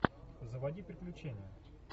заводи приключения